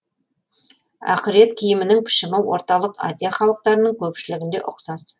ақырет киімінің пішімі орталық азия халықтарының көпшілігінде ұқсас